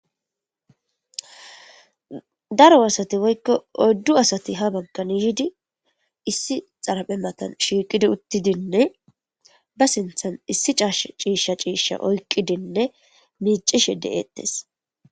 Daro warsati woykko odddu asati ha bagkanihidi issi xaraphe matan shiiqidi uttidinne ba sinthan issi caash ciishsha ciishsha oykqidinne miicishe de'eettes.